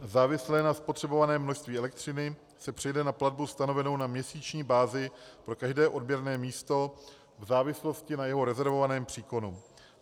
- závislé na spotřebovaném množství elektřiny se přejde na platbu stanovenou na měsíční bázi pro každé odběrné místo v závislosti na jeho rezervovaném příkonu.